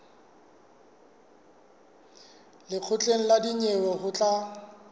lekgotleng la dinyewe ho tla